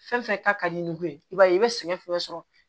Fɛn fɛn ka di ni bon ye i b'a ye i bɛ sɛgɛn fɛn sɔrɔ